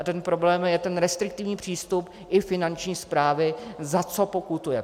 A ten problém je ten restriktivní přístup i Finanční správy, za co pokutuje.